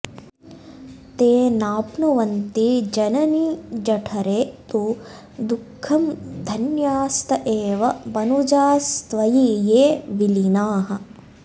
ते नाप्नुवन्ति जननीजठरे तु दुःखं धन्यास्त एव मनुजास्त्वयि ये विलीनाः